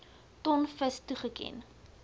ton vis toegeken